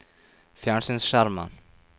fjernsynsskjermen